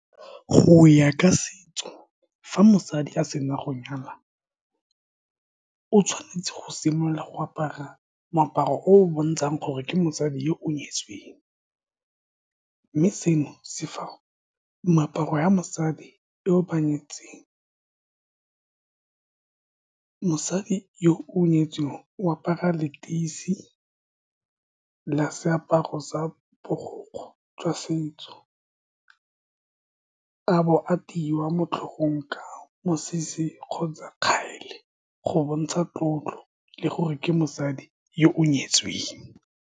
Go ya ka setso, fa mosadi a sena go nyala, o tshwanetse go simolola go apara moaparo o o bontshang gore ke mosadi yo o nyetsweng, mme seno se moaparo wa mosadi yo o ba nyetseng, mosadi yo o nyetsweng o apara leteisi la seaparo sa borokgwe jwa setso, a bo a mo tlhogong ka mosese kgotsa , go bontsha tlotlo le gore ke mosadi yo o nyetsweng.